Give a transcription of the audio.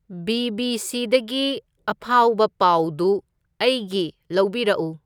ꯕꯤ.ꯕꯤ.ꯁꯤꯗꯒꯤ ꯑꯐꯥꯎꯕ ꯄꯥꯎꯗꯨ ꯑꯩꯒꯤ ꯂꯧꯕꯤꯔꯛꯎ